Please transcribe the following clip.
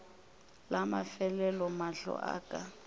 la mafelelo mahlo a ka